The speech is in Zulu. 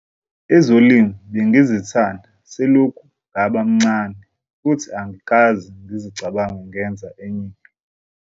"Ezolimo bengizithanda selokhu ngaba mncane futhi angikaze ngizicabange ngenza enye into."